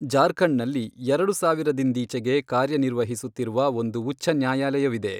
ಜಾರ್ಖಂಡ್ನಲ್ಲಿ ಎರಡು ಸಾವಿರದಿಂದೀಚೆಗೆ ಕಾರ್ಯನಿರ್ವಹಿಸುತ್ತಿರುವ ಒಂದು ಉಚ್ಛ ನ್ಯಾಯಾಲಯವಿದೆ.